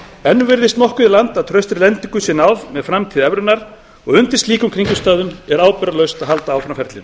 enn virðist nokkuð í land með að traustri lendingu sé náð með framtíð evrunnar undir slíkum kringumstæðum er ábyrgðarlaust að halda áfram ferlinu